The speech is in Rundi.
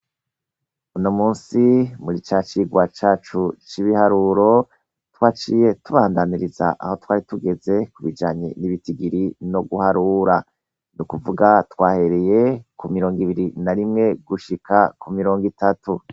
Uno munsi muri ca cigwa cacu c'ibuharuro twaciye tubandanyiriza aho twari tugeze kubijanye n'ibitigiri no guharura, ni ukuvuga twahereye ku mirongo ibiri na rimwe gushika ku mirongo itatu.